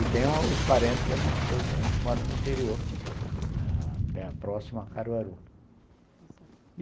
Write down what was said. E tenho os parentes da minha esposa também que moram no interior, próximo a Caruaru.